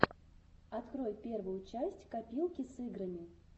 открой первую часть копилки с играми